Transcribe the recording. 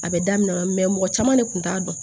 A bɛ daminɛ mɔgɔ caman de kun t'a dɔn